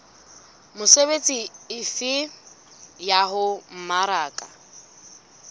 mesebetsi efe ya ho mmaraka